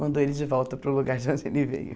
Mandou ele de volta para o lugar de onde ele veio.